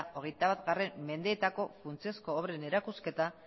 hogeitabatgarren mendeetako funtsezko obren erakusketak